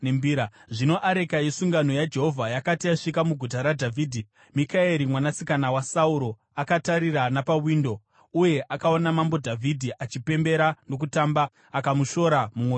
Zvino areka yesungano yaJehovha yakati yasvika muguta raDhavhidhi, Mikaeri mwanasikana waSauro akatarira napawindo. Uye akaona Mambo Dhavhidhi achipembera nokutamba, akamushora mumwoyo make.